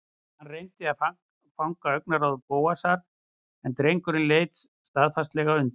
Hann reyndi að fanga augnaráð Bóasar en drengurinn leit staðfastlega undan.